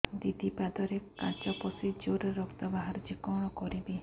ଦିଦି ପାଦରେ କାଚ ପଶି ଜୋରରେ ରକ୍ତ ବାହାରୁଛି କଣ କରିଵି